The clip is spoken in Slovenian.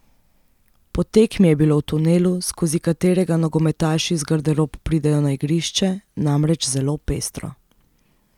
Po tekmi je bilo v tunelu, skozi katerega nogometaši iz garderob pridejo na igrišče, namreč zelo pestro.